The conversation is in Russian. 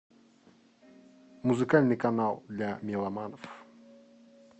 музыкальный канал для меломанов